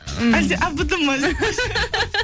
м әлде абд ма десеңші